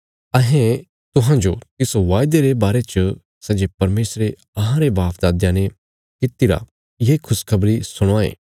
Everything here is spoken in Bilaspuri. अहें तुहांजो तिस वायदे रे बारे च सै जे परमेशरे अहांरे बापदादयां ने कीतिरा ये खुशखबरी सुणावां ये